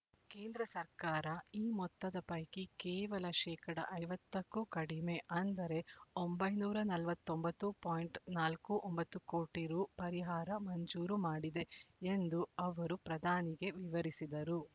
ಕೇಂದ್ರ ಸರ್ಕಾರ ಈ ಮೊತ್ತದ ಪೈಕಿ ಕೇವಲ ಶೇಕಡಾ ಐವತ್ತ ಕ್ಕೂ ಕಡಿಮೆ ಅಂದರೆ ಒಂಬೈನೂರ ನಲವತ್ತ್ ಒಂಬತ್ತು ಪಾಯಿಂಟ್ ನಾಲ್ಕು ಒಂಬತ್ತು ಕೋಟಿ ರೂ ಪರಿಹಾರ ಮಂಜೂರು ಮಾಡಿದೆ ಎಂದು ಅವರು ಪ್ರಧಾನಿಗೆ ವಿವರಿಸಿದರು